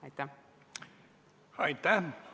Aitäh!